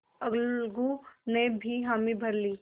अलगू ने भी हामी भर ली